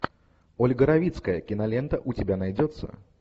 ольга равицкая кинолента у тебя найдется